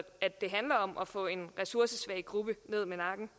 at det handler om at få en ressourcesvag gruppe ned med nakken